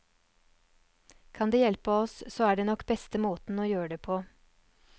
Kan det hjelpe oss, så er det nok beste måten å gjøre det på.